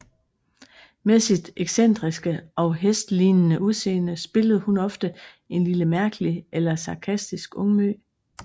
Med sit excentriske og hestlignende udseende spillede hun ofte en lille mærkelig eller sarkastisk ungmø